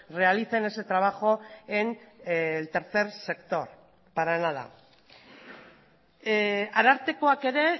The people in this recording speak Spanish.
realicen ese trabajo en el tercer sector para nada arartekoak ere